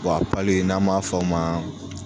Bɔn a pali n'an m'a f'o ma